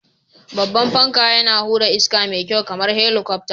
Babban fanka, yana hura iska mai kyau kamar helikwafta